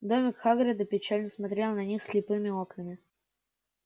домик хагрида печально смотрел на них слепыми окнами